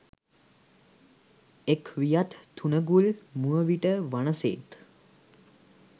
එක් වියත් තුනඟුල් මුවවිට වනසේත්